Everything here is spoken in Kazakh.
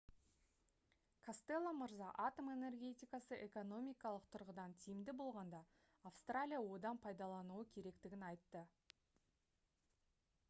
костелло мырза атом энергетикасы экономикалық тұрғыдан тиімді болғанда австралия одан пайдалануы керектігін айтты